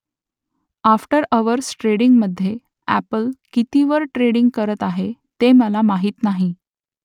after hours ट्रेडिंगमधे Apple कितीवर trading करत आहे ते मला माहीत नाही